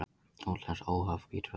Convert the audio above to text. Útlenskt óhóf bítur verst.